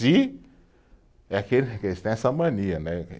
Eles têm essa mania, né?